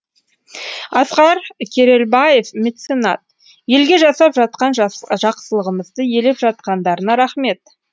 асқар керелбаев меценат елге жасап жатқан жақсылығымызды елеп жатқандарына рақмет